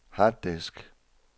harddisk